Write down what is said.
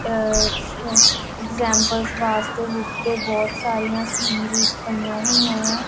ਅ examples ਵਾਸਤੇ ਦੇ ਬਹੁਤ ਸਾਰੀਆਂ ਸੀਨਰੀਜ਼ ਪਈਆਂ ਹੋਈਆਂ ਆ।